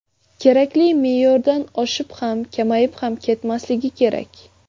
Kerakli me’yordan oshib ham, kamayib ham ketmasligi kerak.